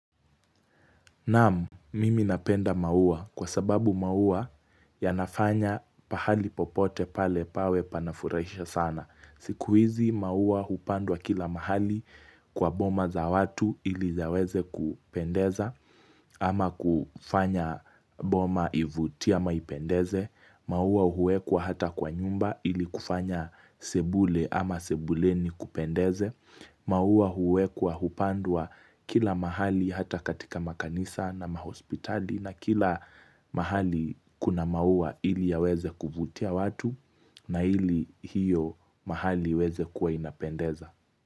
Naam, mimi napenda maua kwa sababu maua yanafanya pahali popote pale pawe panafuraisha sana. Siku hizi maua hupandwa kila mahali kwa boma za watu ili ziweze kupendeza ama kufanya boma ivutia maipendeze. Maua huwekwa hata kwa nyumba ili kufanya sebule ama sebuleni kupendeze. Mauwa huekwa hupandwa kila mahali hata katika makanisa na mahospitali na kila mahali kuna maua ili ya weze kuvutia watu na ili hiyo mahali weze kuwa inapendeza.